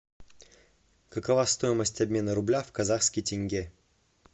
какова стоимость обмена рубля в казахский тенге